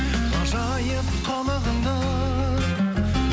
ғажайып қылығыңды